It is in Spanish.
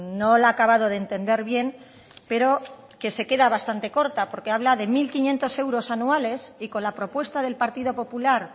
no la he acabado de entender bien pero que se queda bastante corta porque habla de mil quinientos euros anuales y con la propuesta del partido popular